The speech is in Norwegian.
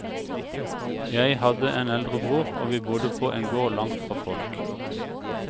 Jeg hadde en eldre bror, og vi bodde på en gård langt fra folk.